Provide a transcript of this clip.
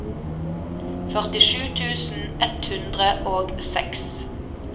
førtisju tusen ett hundre og seks